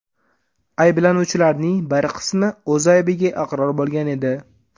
Ayblanuvchilarning bir qismi o‘z aybiga iqror bo‘lgan edi.